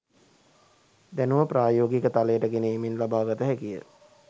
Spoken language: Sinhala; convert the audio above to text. දැනුම ප්‍රායෝගික තලයට ගෙන ඒමෙන් ලබාගත හැකිය.